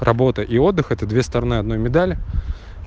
работа и отдых это две стороны одной медали